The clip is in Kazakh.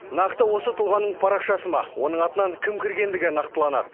нақты осы тұлғаның парақшасы ма оның атынан кім кіргендігі нақтыланады